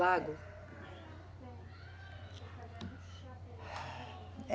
Lago.